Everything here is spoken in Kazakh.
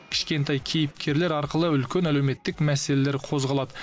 кішкентай кейіпкерлер арқылы үлкен әлеуметтік мәселелер қозғалады